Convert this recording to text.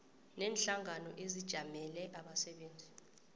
neenhlangano ezijamele abasebenzi